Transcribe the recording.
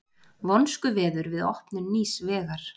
Vonskuveður við opnun nýs vegar